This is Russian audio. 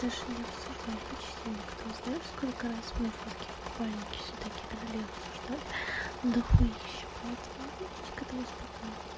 даже не обсуждал почти ни кто знаешь сколько раз мои фотки в купальнике сюда кидали и обсуждали дохуище поэтому относись к этому спокойней